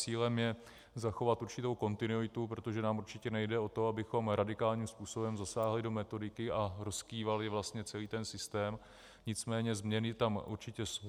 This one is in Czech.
Cílem je zachovat určitou kontinuitu, protože nám určitě nejde o to, abychom radikálním způsobem zasáhli do metodiky a rozkývali vlastně celý ten systém, nicméně změny tam určitě jsou.